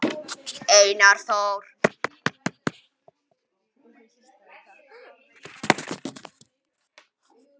Einar Þór.